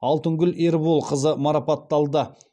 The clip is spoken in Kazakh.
алтынгүл ерболқызы марапатталды